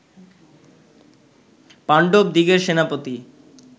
পাণ্ডবদিগের সেনাপতি